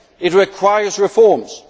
It requires reforms.